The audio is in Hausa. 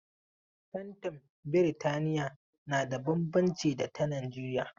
Fantan Biritaliya na da bambanci da ta Nijeriya.